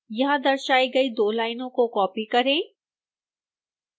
यहां दर्शाई गई दो लाइनों को कॉपी करें